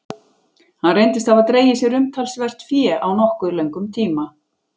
Hann reyndist hafa dregið sér umtalsvert fé á nokkuð löngum tíma.